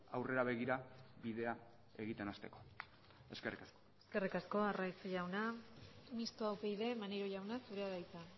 aurrera begira bidea egiten hasteko eskerrik asko eskerrik asko arraiz jauna mistoa upyd maneiro jauna zurea da hitza